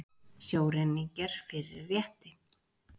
Sjóræningjar fyrir rétti